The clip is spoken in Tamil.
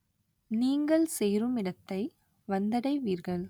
நீங்கள் சேருமிடத்தை வந்தடைவீர்கள்